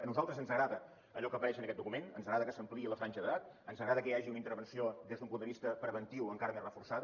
a nosaltres ens agrada allò que apareix en aquest document ens agrada que s’ampliï la franja d’edat ens agrada que hi hagi una intervenció des d’un punt de vista preventiu encara més reforçada